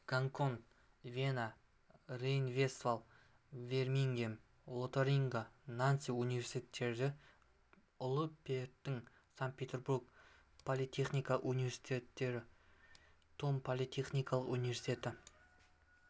гонконг вена рейн-вестфаль бирмингем лотарингия нанси университеттері ұлы петрдің санкт-петербург политехникалық университеті том политехникалық университеті